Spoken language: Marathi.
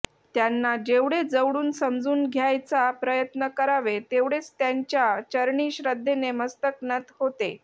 त्यांना जेवढे जवळून समजून घ्यायचा प्रयत्न करावे तेवढेच त्यांच्या चरणी श्रद्धेने मस्तक नत होते